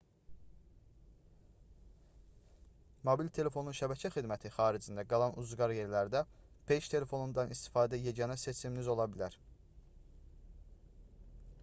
mobil telefonun şəbəkə xidməti xaricində qalan ucqar yerlərdə peyk telefonundan istifadə yeganə seçiminiz ola bilər